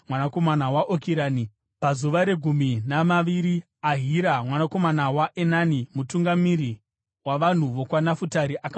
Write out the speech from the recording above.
Pazuva regumi namaviri, Ahira mwanakomana waEnani, mutungamiri wavanhu vokwaNafutari, akauya nechipiriso chake.